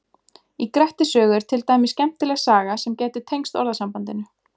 í grettis sögu er til dæmis skemmtileg saga sem gæti tengst orðasambandinu